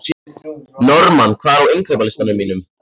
Normann, hvað er á innkaupalistanum mínum?